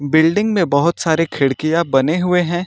Building में बहोत सारे खिड़कियां बने हुए है।